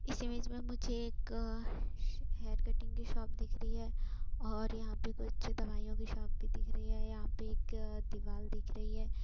इस इमेज में मुझे एक अ ह हेयर कटिंग की शॉप दिख रही है और यहाँ पर कुछ दवाइयां की शॉप भी दिख रही है। यहाँ पर एक दीवाल दिख रही है।